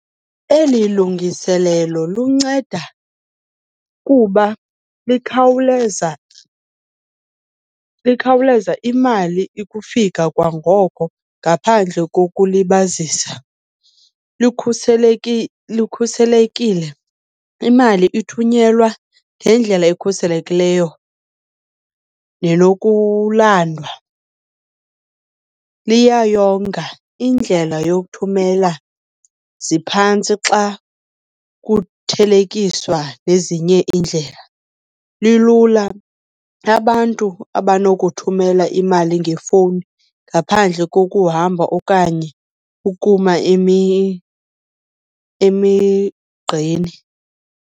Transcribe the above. Eli lungiselelo lunceda kuba likhawuleza imali ukufika kwangoko ngaphandle kokulibazisa. Likhuselekile, imali ithunyelwa ngendlela ekhuselekileyo nenokulandwa. Liyayonga, indlela yokuthumela ziphantsi xa kuthelekiswa nezinye iindlela. Lilula, abantu abanokuthumela imali ngefowuni ngaphandle kokuhamba okanye ukuma emigqeni.